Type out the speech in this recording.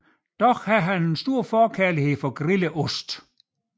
Dog har han et stor forkærlighed til grillet ost